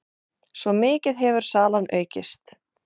Svo mikið hefur salan aukist.